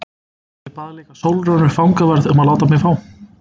Ég bað líka Sólrúnu fangavörð um að láta mig fá